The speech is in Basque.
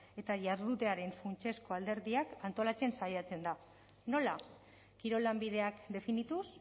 eta jardutearen funtsezko alderdiak antolatzen saiatzen da nola kirol lanbideak definituz